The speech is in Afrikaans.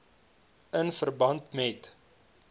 in verband met